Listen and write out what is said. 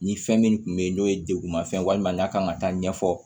Ni fɛn min tun bɛ yen n'o ye degun ma fɛn walima n'a kan ka taa ɲɛfɔ